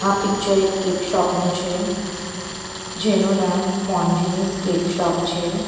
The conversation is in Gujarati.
આ પિક્ચર એક કેક શોપ નું છે જેનું નામ મોન્ગીનીસ કેક શોપ છે.